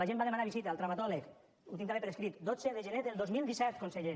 la gent va a demanar visita al traumatòleg ho tinc també per escrit dotze de gener del dos mil disset conseller